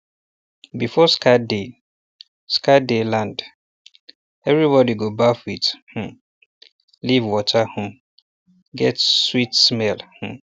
before scarred day scarred day land everybody go baff with um leaf water um get sweet smell um